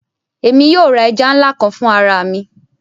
Émi yóò ra ẹja nla kan fun ara mi